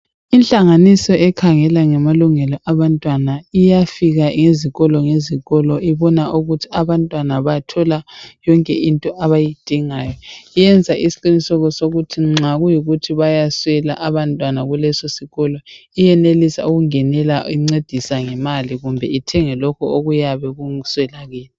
Inhlanganiso ekhangela ngamalungelo abantwana iyafika ezikolo ngezikolo ibona ukuthi abantwana bathola yonke into abayidingayo. Iyenza isiqiniseko sokuthi nxa kuyikuthi bayaswela abantwana kuleso sikolo, iyenelisa ukungenela incedisa ngemali kumbe ithenge lokhu okuyabe kuswelakele.